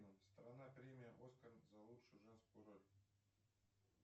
страна премия оскар за лучшую женскую роль